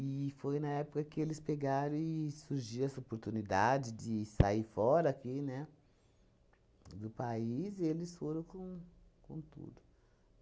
E foi na época que eles pegaram e surgiu essa oportunidade de sair fora aqui né do país e eles foram com com tudo.